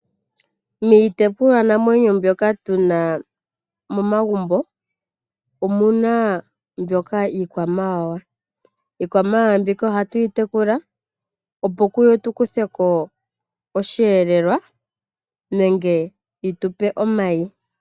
Miitekulwanamwenyo mbyoka tu na momagumbo omu na mbyoka iikwamawawa. Iikwamawawa mbika ohatu yi tekula, opo tu kuthe ko osheelelwa nenge yi tu pe omayi.